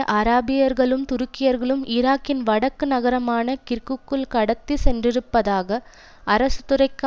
அராபியர்களும் துருக்கியர்களும் ஈராக்கின் வடக்கு நகரமான கிர்குக்குல் கடத்தி சென்றிருப்பதாக அரசுத்துறைக்கு